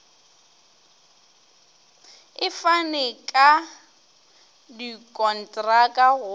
e fane ka dikontraka go